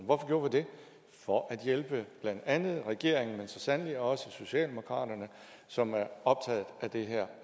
hvorfor gjorde vi det for at hjælpe blandt andet regeringen men så sandelig også socialdemokraterne som er optaget af det her